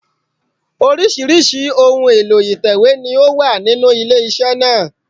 Oríṣìíríṣìí ohun èlò ìtẹ̀wé ni ó wà nínú ilé iṣẹ́ náà